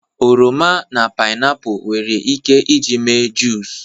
oroma na painiapu nwere ike iji mee juice